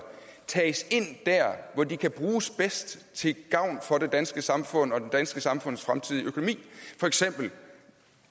tages ind der hvor de kan bruges bedst til gavn for det danske samfund og det danske samfunds fremtidige økonomi for eksempel